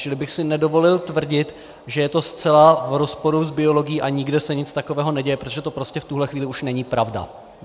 Čili bych si nedovolil tvrdit, že je to zcela v rozporu s biologií a nikde se nic takového neděje, protože to prostě v tuhle chvíli už není pravda.